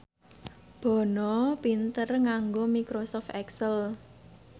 Bono pinter nganggo microsoft excel